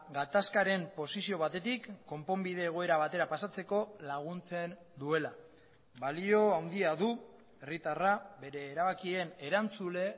gatazkaren posizio batetik konponbide egoera batera pasatzeko laguntzen duela balio handia du herritarra bere erabakien erantzule